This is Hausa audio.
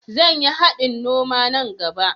Zan yi haɗin noma nan gaɓa.